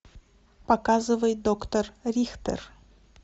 показывай доктор рихтер